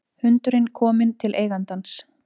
Hundurinn kominn til eigandans